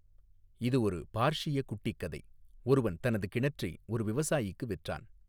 இது ஒரு பார்ஷிய குட்டிக் கதை ஒருவன் தனது கிணற்றை ஒரு விவசாயிக்கு விற்றான்.